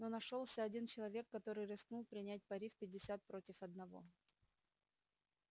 но нашёлся один человек который рискнул принять пари в пятьдесят против одного